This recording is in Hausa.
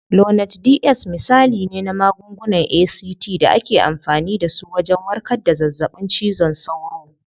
Lonart DS misali ne na magungunan ACT da ake amfani dasu wajen warkar da zazzaɓin cizon sauro.